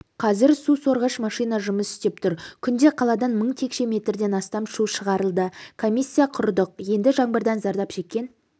қазір су сорғыш машина жұмыс істеп тұр күнде қаладан мың текше метрден астам су шығырылды комиссия құрдық енді жаңбырдан зардап шеккен